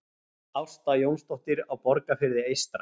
Ásta Jónsdóttir á Borgarfirði eystra